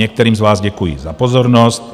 Některým z vás děkuji za pozornost.